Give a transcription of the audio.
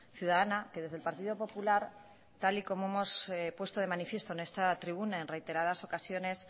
ciudadana que desde el partido popular tal y como hemos puesto de manifiesto en esta tribuna en reiteradas ocasiones